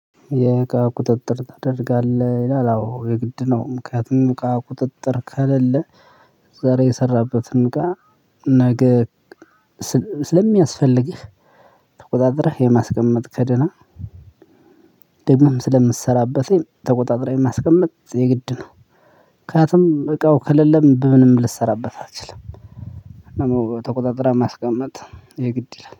የእቃ ቁጥጥር ታደርጋለህ ይላል? አዎ የግድ ነው ምክንያቱም እቃ ቁጥጥር ከሌለ። ዛሬ የሰራህበትን እቃ ነገ ስለሚያስፈልግህ ተቆጣጥረህ የማስቀመጥ ከደህና። ደግሞም ስለምትሰራበት ተቆጣጥረህ የማስቀመጥ የግድ ነው። ምክንያቱም እቃው ከሌለም በምንም ልትሰራበት አትችልም። ተቆጣጥረህ ማስቀመጥ የግድ ይላል